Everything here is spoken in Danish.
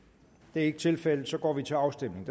det er ikke tilfældet og så går vi til afstemning